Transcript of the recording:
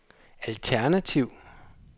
alternativ